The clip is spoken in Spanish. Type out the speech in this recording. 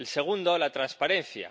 El segundo la transparencia.